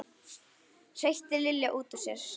hreytti Lilja út úr sér.